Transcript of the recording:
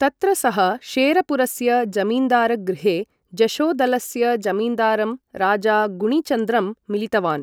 तत्र सः शेरपुरस्य जमीन्दारगृहे जशोदलस्य जमीन्दारं राजा गुणिचन्द्रं मिलितवान्।